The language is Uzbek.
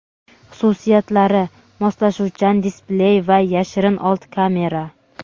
Xususiyatlari: moslashuvchan displey va yashirin old kamera.